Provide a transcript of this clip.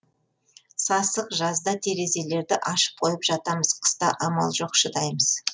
сасық жазда терезелерді ашып қойып жатамыз қыста амал жоқ шыдаймыз